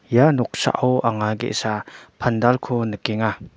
ia noksao anga ge·sa pandalko nikenga.